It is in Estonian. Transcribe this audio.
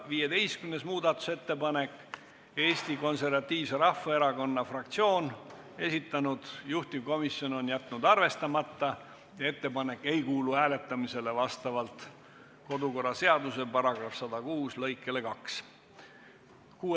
15. muudatusettepaneku on esitanud taas Eesti Konservatiivse Rahvaerakonna fraktsioon, juhtivkomisjon on jätnud selle arvestamata ja ettepanek vastavalt kodu- ja töökorra seaduse § 106 lõikele 2 hääletamisele ei kuulu.